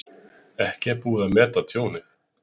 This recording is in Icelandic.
Ekki er búið að meta tjónið